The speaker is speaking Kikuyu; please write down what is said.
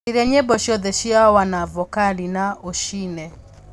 caria nyĩmbo ciothe cia wanavokali na ũciine